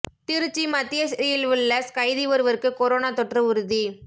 திருச்சி மத்திய சிறையில் உள்ள கைதி ஒருவருக்கு கொரோனா தொற்று உறுதி